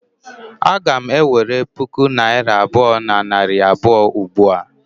Aga m ewere puku naira abụọ na narị abụọ ugbua?